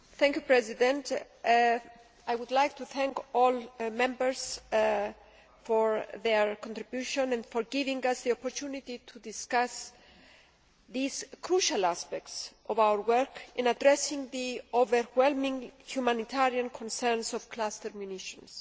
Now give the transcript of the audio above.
Mr President, I would like to thank all Members for their contribution and for giving us the opportunity to discuss these crucial aspects of our work in addressing the overwhelming humanitarian concerns of cluster munitions.